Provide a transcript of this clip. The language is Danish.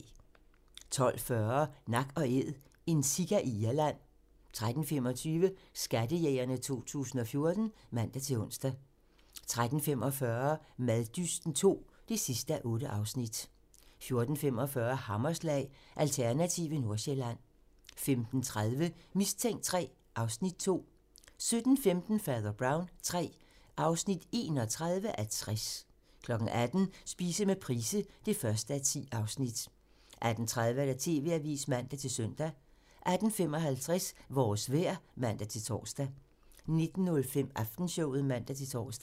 12:40: Nak & Æd - en sika i Irland 13:25: Skattejægerne 2014 (man-ons) 13:45: Maddysten II (8:8) 14:45: Hammerslag - Alternative Nordsjælland 15:30: Mistænkt III (Afs. 2) 17:15: Fader Brown III (31:60) 18:00: Spise med Price (1:10) 18:30: TV-avisen (man-søn) 18:55: Vores vejr (man-tor) 19:05: Aftenshowet (man-tor)